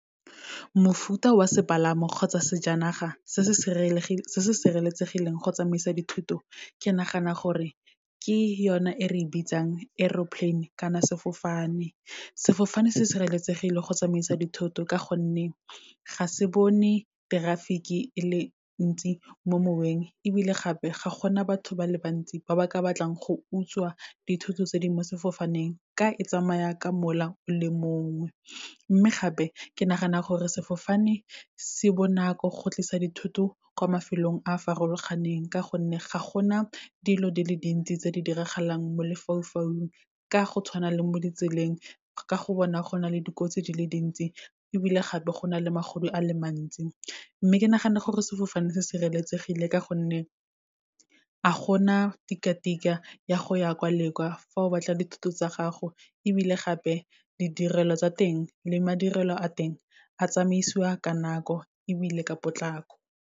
Mofuta wa sepalamo kgotsa sejanaga se se sireletsegileng go tsamaisa dithuto ke nagana gore ke yone e re e bitsang aeroplane kana sefofane. Sefofane se sireletsegile go tsamaisa dithoto ka gonne, ga se bone traffic-e e le ntsi mo moweng, ebile gape ga gona batho ba le bantsi ba ba ka batlang go utswa dithoto tse di mo sefofaneng, ka e tsamaya ka mola o le mongwe. Mme gape, ke nagana gore sefofane se bonako go tlisa dithoto kwa mafelong a a farologaneng, ka gonne ga gona dilo di le dintsi tse di diragalang mo lefaufaung, ka go tshwana le mo ditseleng, ka go bona go na le dikotsi di le dintsi, ebile gape go na le magodu a le mantsi. Mme ke nagana gore sefofane se sireletsegile, ka gonne a gona tika-tika ya go ya kwa le kwa, fa o batla dithoto tsa gago, ebile gape ditirelo tsa teng le madirelo a teng a tsamaisiwa ka nako ebile ka potlako.